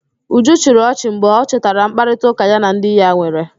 Uju chịrị ọchị mgbe ọ chetara mkparịtaụ́ká ya na di ya nwere